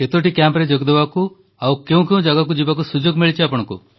କେତୋଟି କ୍ୟାମ୍ପରେ ଯୋଗଦେବାକୁ ଆଉ କେଉଁ କେଉଁ ଜାଗାକୁ ଯିବାକୁ ସୁଯୋଗ ମିଳିଛି